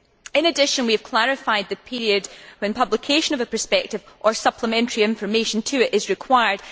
In addition, we have clarified the period when publication of a prospectus or supplementary information to it is required